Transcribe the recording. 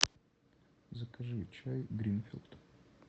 закажи чай гринфилд